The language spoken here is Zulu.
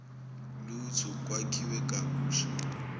lutho kwakhiwe kabusha